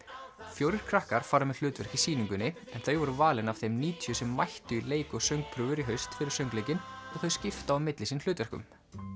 fjórir krakkar fara með hlutverk í sýningunni þau voru valin af þeim níutíu sem mættu í leik og söngprufur í haust fyrir söngleikinn og þau skipta á milli sín hlutverkum